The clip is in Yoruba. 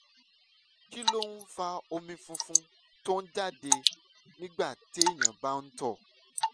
kí ló ń fa omi funfun tó ń jáde nígbà téèyàn bá ń tọ̀?